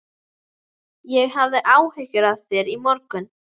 Ég hafði áhyggjur af þér í morgun.